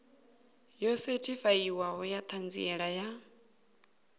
yo sethifaiwaho ya ṱhanziela ya